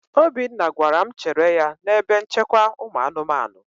Obinna gwara m chere ya n'ebe nchekwa ụmụ anụmanụ.